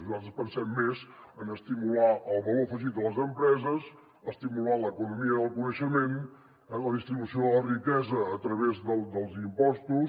nosaltres pensem més en estimular el valor afegit de les empreses estimular l’economia del coneixement la distribució de la riquesa a través dels impostos